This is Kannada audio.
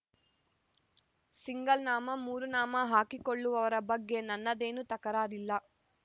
ಸಿಂಗಲ್ ನಾಮ ಮೂರು ನಾಮ ಹಾಕಿಕೊಳ್ಳುವವರ ಬಗ್ಗೆ ನನ್ನದೇನೂ ತಕರಾರಿಲ್ಲ